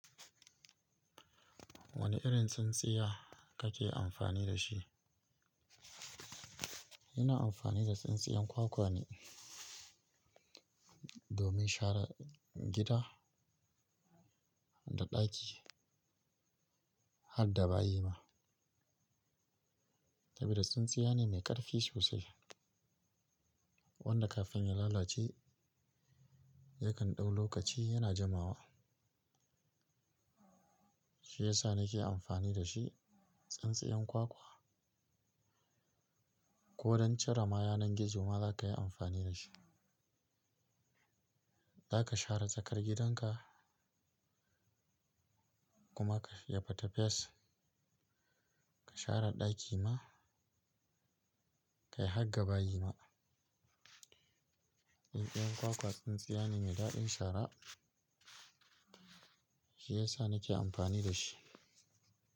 Wane irin tsintsiya kake amfani da shi? Ina amfani da tsintsiyan kwakwa ne domin share gida da ɗaki har da bayi ma. Saboda tsintsiya ne mai ƙarfi sosai wanda kafin ya lalace yakan ɗau lokaci yana jimawa. Shi yasa nake amfani da shi. Tsintsiyan kwakwa ko don cire ma yanan gizo ma zaka yi amfani da shi. Zaka share tsakar gidanka kuma ka ya fita fes ka share ɗaki ma kai har ga bayi ma. Tsintsiyan kwakwa tsintsiya ne mai daɗin shara shi yasa nake amfani da shi.